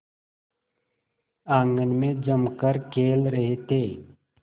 आंगन में जमकर खेल रहे थे